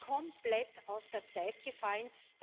Das ist komplett aus der Zeit gefallen.